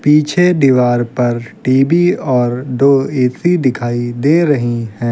पीछे दीवार पर टीवी और दो ए_सी दिखाई दे रही हैं।